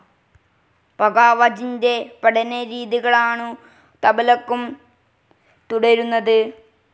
പഘാവജിന്റെ പഠനരീതികളാണു തബലക്കും തുടരുന്നത്.